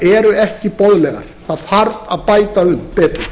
eru ekki boðlegar það þarf að bæta um betur